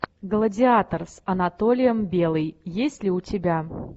гладиатор с анатолием белый есть ли у тебя